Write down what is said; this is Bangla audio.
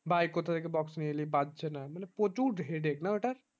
ভাই কোথায় থেকে box নিয়ে আসলি বাজছে না মানে প্রচুর headache না ওটার